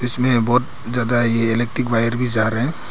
इसमें बहोत ज्यादा ये इलेक्ट्रिक वायर भी जा रहे हैं।